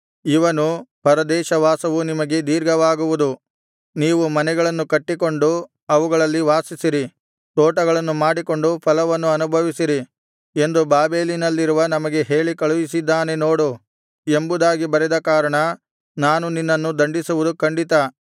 ಇವನು ಪರದೇಶ ವಾಸವು ನಿಮಗೆ ದೀರ್ಘವಾಗುವುದು ನೀವು ಮನೆಗಳನ್ನು ಕಟ್ಟಿಕೊಂಡು ಅವುಗಳಲ್ಲಿ ವಾಸಿಸಿರಿ ತೋಟಗಳನ್ನು ಮಾಡಿಕೊಂಡು ಫಲವನ್ನು ಅನುಭವಿಸಿರಿ ಎಂದು ಬಾಬೆಲಿನಲ್ಲಿರುವ ನಮಗೆ ಹೇಳಿ ಕಳುಹಿಸಿದ್ದಾನೆ ನೋಡು ಎಂಬುದಾಗಿ ಬರೆದ ಕಾರಣ ನಾನು ನಿನ್ನನ್ನು ದಂಡಿಸುವುದು ಖಂಡಿತ